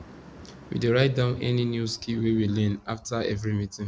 we dey write down any new skill wey we learn after every meeting